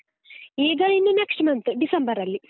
ಈಗ ಇನ್ನು next month ಡಿಸೆಂಬರಲ್ಲಿ.